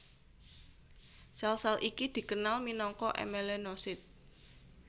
Sèl sèl iki dikenal minangka èmelenosit